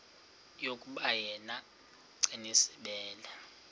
yokuba yena gcinizibele